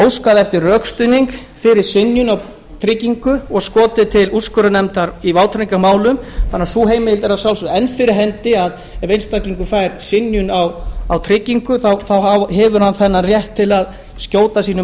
óskað eftir rökstuðningi fyrir synjun á tryggingu og skotið til úrskurðarnefndar í vátryggingarmálum þannig að sú heimild er að sjálfsögðu enn fyrir hendi ef einstaklingur fær synjun á tryggingu hefur hann þennan rétt til að skjóta máli